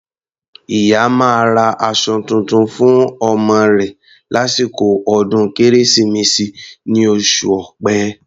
Ìyá máa ra aṣọ tuntun fún ọmọ rẹ̀ lásìkò ọdún Kérésìmesì ní oṣù Ọ̀pẹ.